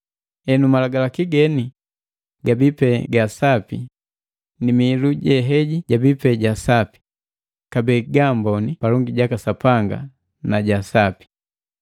Henu, Malagalaki geni gabii pe gaga Sapi ni mihilu je heji jabii pe jeja Sapi, kabee jaamboni palongi jaka Sapanga na ja sapi.